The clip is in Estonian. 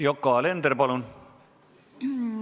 Yoko Alender, palun!